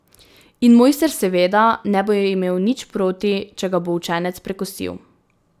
In mojster seveda ne bo imel nič proti, če ga bo učenec prekosil.